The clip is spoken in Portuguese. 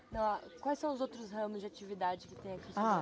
Não, quais são os outros ramos de atividade que tem aqui? Ãh